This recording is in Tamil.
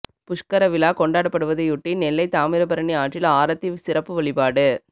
புஷ்கர விழா கொண்டாடப்படுவதை யொட்டி நெல்லை தாமிரபரணி ஆற்றில் ஆரத்தி சிறப்பு வழிபாடு